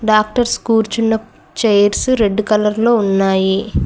Doctors కూర్చున్న chairs red colour లో ఉన్నాయి.